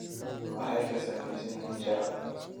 Maxay ka samaysan yihiin shacaab?